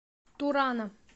турана